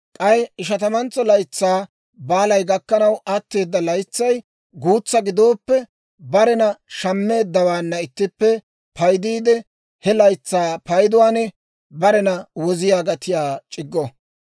K'ay Ishatamantso Laytsaa Baalay gakkanaw atteeda laytsay guutsaa gidooppe, barena shammeeddawaanna ittippe paydiidde, he laytsaa payduwaan barena woziyaa gatiyaa c'iggo.